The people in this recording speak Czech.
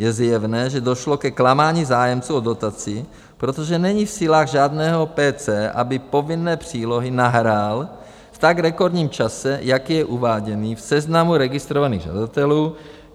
Je zjevné, že došlo ke klamání zájemců o dotaci, protože není v silách žádného PC, aby povinné přílohy nahrál v tak rekordním čase, jak je uváděn v seznamu registrovaných žadatelů.